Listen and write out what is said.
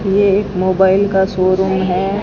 ये एक मोबाइल का शोरूम है।